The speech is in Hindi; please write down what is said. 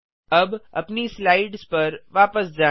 अब अपनी स्लाइड्स पर वापस जाएँ